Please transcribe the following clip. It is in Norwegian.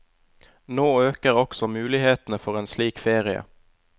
Nå øker også mulighetene for en slik ferie.